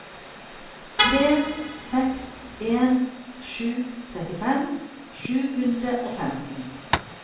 tre seks en sju trettifem sju hundre og femten